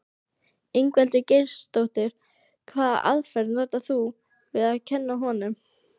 Ingveldur Geirsdóttir: Hvaða aðferð notar þú við að kenna honum?